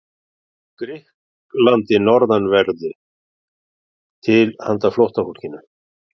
Grikklandi norðanverðu til handa flóttafólkinu.